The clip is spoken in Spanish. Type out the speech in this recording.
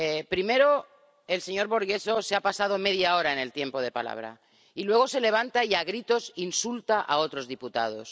Primero, el señor Borghezio se ha pasado media hora en el tiempo de palabra y, luego, se levanta y, a gritos, insulta a otros diputados.